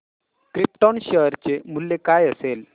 krypton share चे मूल्य काय असेल